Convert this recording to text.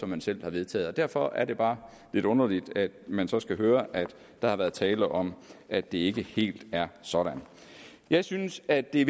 man selv har vedtaget derfor er det bare lidt underligt at man så skal høre at der har været tale om at det ikke helt er sådan jeg synes at det